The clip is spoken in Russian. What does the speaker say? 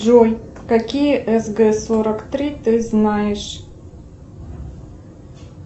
джой какие сг сорок три ты знаешь